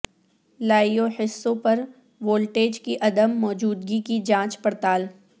live حصوں پر voltage کی عدم موجودگی کی جانچ پڑتال